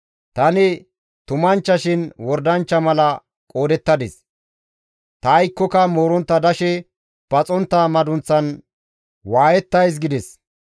Tani tumanchchashin wordanchcha mala qoodettadis; ta aykkoka moorontta dashe paxontta madunththan waayettays› gides.